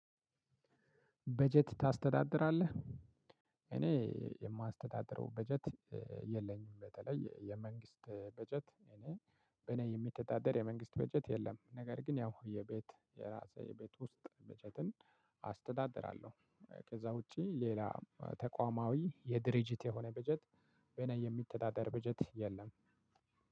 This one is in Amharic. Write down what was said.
በጀት ታስተዳድራለህ እኔ የማስተዳድረው በጀት የለኝም። በተለይ የመንግስት በጀት እኔ በእኔ የሚተዳደር የመንግስት በጀት የለም። ነገር ግን ያው የቤት የራሴ የቤት ውስጥ በጀትን አስተዳድራለሁ። ከዛ ውጪ ሌላ ተቋማዊ የድርጅት የሆነ በጀት በኔ የሚተዳደር በጀት የለም።